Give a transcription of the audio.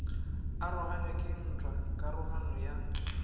aroganywa ke ntwa karogano ya